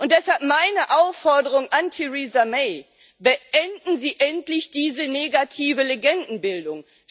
Deshalb meine Aufforderung an Theresa May Beenden Sie endlich diese negative Legendenbildung!